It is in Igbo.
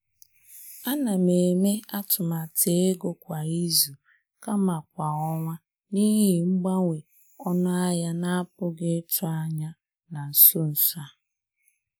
A na m eme atụmatụ ego kwa izu kama kwa ọnwa n’ihi mgbanwe ọnụ ahịa na-apụghị ịtụ anya na nso nso a.